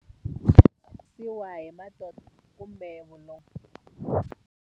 hi kumbe vulongo.